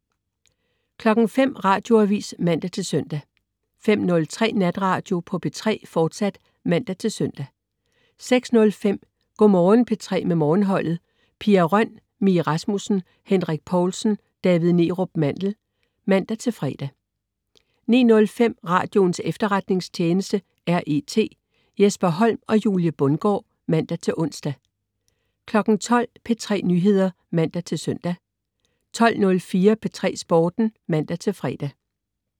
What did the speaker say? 05.00 Radioavis (man-søn) 05.03 Natradio på P3, fortsat (man-søn) 06.05 Go' Morgen P3 med Morgenholdet. Pia Røn, Mie Rasmussen, Henrik Povlsen og David Neerup Mandel (man-fre) 09.05 Radioens Efterretningstjeneste. R.E.T. Jesper Holm og Julie Bundgaard (man-ons) 12.00 P3 Nyheder (man-søn) 12.04 P3 Sporten (man-fre)